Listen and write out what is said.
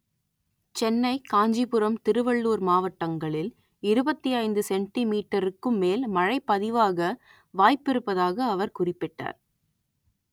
சென்னை காஞ்சிபுரம் திருவள்ளூர் மாவட்டங்களில் இருபத்தி ஐந்து சென்டி மீட்டருக்கும் மேல் மழை பதிவாக வாய்ப்பிருப்பதாக அவர் குறிப்பிட்டார்